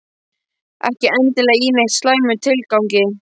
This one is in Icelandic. Ekki endilega í neitt slæmum tilgangi.